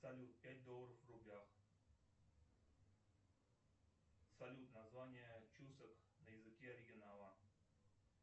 салют пять долларов в рублях салют название чусак на языке оригинала